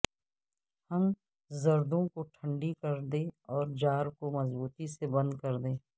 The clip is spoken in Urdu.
ہم زردوں کو ٹھنڈی کر دیں اور جار کو مضبوطی سے بند کردیں